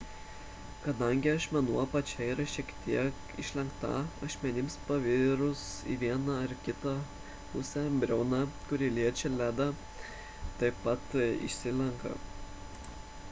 kadangi ašmenų apačia yra šiek tiek išlenkta ašmenims pasvirus į vieną ar kitą pusę briauna kuri liečia ledą taip pat išsilenkia